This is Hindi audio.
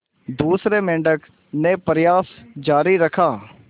दूसरे मेंढक ने प्रयास जारी रखा